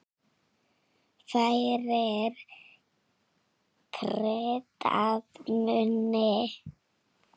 Færir graut að munni.